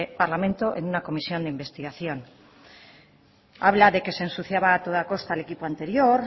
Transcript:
parlamento en una comisión de investigación habla de que se ensuciaba a toda costa al equipo anterior